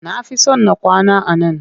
Na fi son na kwana a nan